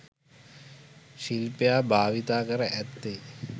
ශිල්පියා භාවිතා කර ඇත්තේ